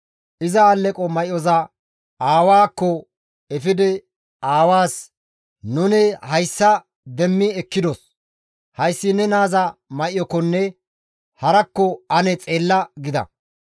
Iza aleqo may7oza aawaakko efidi aawaas, «Nuni hayssa demmi ekkidos; hayssi ne naaza may7okkonne harakko ane xeella» gida.